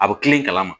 A bɛ kilen kana